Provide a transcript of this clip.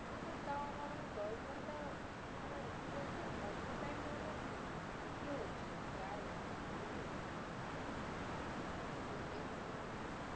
কিন্তু আমার দশ ঘন্টা মানে আমার কি বলতো অতো time দেওয়াটা না খুব ইয়ে হচ্ছিলো না, গাঁয়ে লাগছিল বুঝলি। তোর এ জন্য আমি